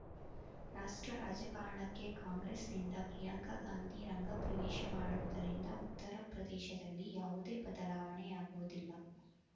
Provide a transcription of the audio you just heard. ರಾಷ್ಟ್ರ ರಾಜಕಾರಣಕ್ಕೆ ಕಾಂಗ್ರೆಸ್‌ನಿಂದ ಪ್ರಿಯಾಂಕ ಗಾಂಧಿ ರಂಗ ಪ್ರವೇಶ ಮಾಡಿರುವುದರಿಂದ ಉತ್ತರ ಪ್ರದೇಶದಲ್ಲಿ ಯಾವುದೇ ಬದಲಾವಣೆಯಾಗುವುದಿಲ್ಲ